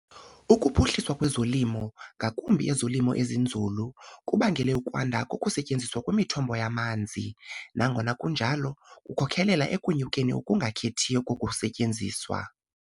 Ukuphuhliswa kwezolimo, ngakumbi ezolimo ezinzulu, kubangele ukwanda kokusetyenziswa kwemithombo yamanzi, nangona kunjalo kukhokelela ekunyukeni okungakhethiyo kokusetyenziswa.